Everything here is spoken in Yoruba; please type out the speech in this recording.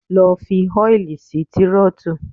Lọ fi oil sí Tírótù!